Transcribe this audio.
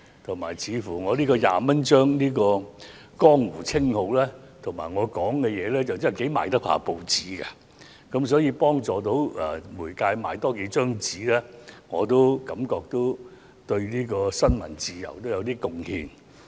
而且，我這個"廿蚊張"的江湖稱號和我的說話似乎亦頗能促進報章銷量，可以幫助媒體售出更多報章，我也因此感到自己對新聞自由有點貢獻。